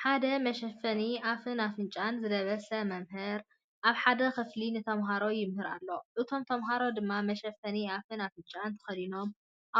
ሓደ መሸፈኒ ኣፍን ኣፍንጫን ዝለበሰ መምህር ኣብ ሓደ ክፍሊ ንተማሃሮ ይምህር ኣሎ፡ እቶም ተማሃሮ ድማ መሸፈኒ ኣፍን ኣፍንጫን ተኸዲኖም